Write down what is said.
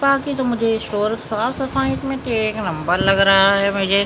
बाकी तो मुझे शोरत साफ सफाई में तो एक नंबर लग रा है मुझे चलो --